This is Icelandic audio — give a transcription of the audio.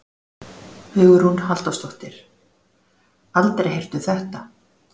Hugrún Halldórsdóttir: Aldrei heyrt um þetta?